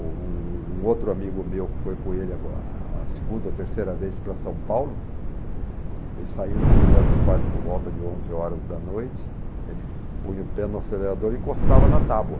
Um um um outro amigo meu que foi com ele a segunda ou terceira vez para São Paulo, ele saiu de São José do Rio Parque por volta de onze horas da noite, ele punha o pé no acelerador e encostava na tábua.